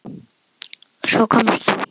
Svo komst þú.